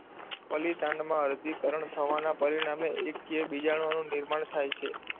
ફલિતાંડમાં અર્ધીકરણ થવાના પરિણામે એકકીય બીજાણુઓનું નિર્માણ થાય છે.